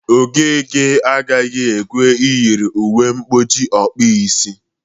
Okeke agaghị ekwe eyiri uwe mkpuchi ọkpụisi